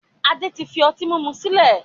Adé tí fi ọtí mímu sílẹ̀